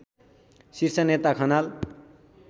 शीर्षनेता Khanal